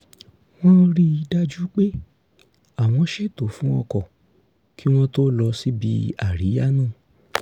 wọ́n rí i dájú pé àwọn ṣètò fún o̩kò̩ kí wọ́n tó lọ síbi àríyá náà